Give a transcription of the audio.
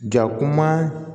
Ja kuma